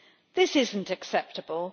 This is not acceptable.